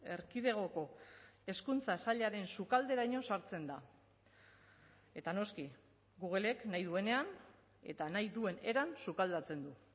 erkidegoko hezkuntza sailaren sukalderaino sartzen da eta noski googlek nahi duenean eta nahi duen eran sukaldatzen du